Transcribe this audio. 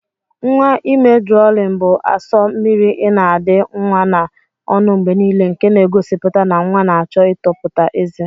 Nwa ime drọlin bu aso mmiri ina adi nwa na ọnụ mgbenile nke n'egosiputa na nwa na achọ itoputa eze.